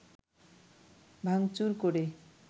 ভাঙচুর করে